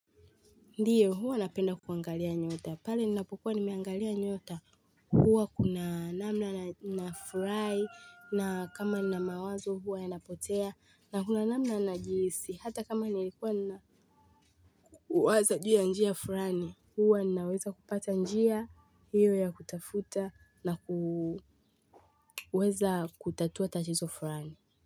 Ndiyo huwa napenda kuangalia nyota pale ninapokuwa nimeangalia nyota huwa kuna namna nafurai na kama na mawazo huwa yanapotea na kuna namna na jisi hata kama nilikuwa na waza ju ya njia fulani huwa naweza kupata njia iwe ya kutafuta na kuweza kutatua tatizo fulani.